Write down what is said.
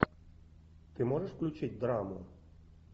ты можешь включить драму